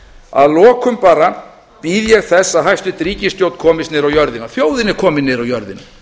að lokum bara bíð ég þess að hæstvirt ríkisstjórn komist niður á jörðina þjóðin er komin niður á jörðina